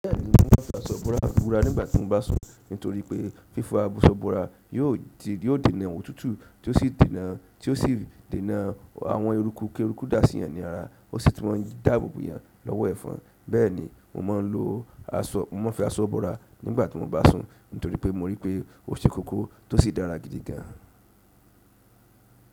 Bẹ́ẹ̀ni, mo máa ń fẹ́ aṣọ búrà wúrà nígbà tí mo bá sùn. Nítorí pé fífa aṣọ búrà yóò dènà òwú tútù tí ó sì dènà àwọn eruku kí eruku dá síyan ni ara, ó sì tun màá dáàbò bò yán lọ́wọ́ ẹ̀fọn. Bẹ́ẹ̀ni mo máa ń lo aṣọ, mo máa ń fi aṣọ búrà nígbà tí mo bá sùn, nítorí pé mo rí i pé ó ṣe kókó tó sì dára gidi gan.